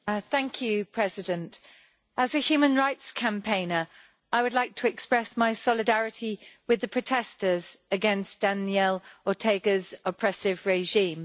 Mr President, as a human rights campaigner, I would like to express my solidarity with the protesters against Daniel Ortega's oppressive regime.